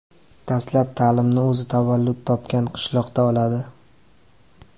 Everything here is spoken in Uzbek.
Dastlab ta’limni o‘zi tavallud topgan qishloqda oladi.